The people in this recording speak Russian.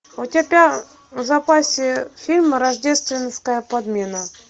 у тебя в запасе фильм рождественская подмена